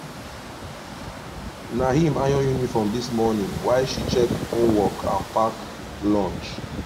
na him iron uniform this morning while she check homework and pack lunch